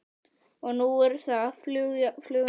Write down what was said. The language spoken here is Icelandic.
Og nú eru það fljúgandi diskar.